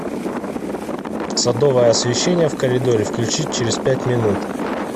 садовое освещение в коридоре включить через пять минут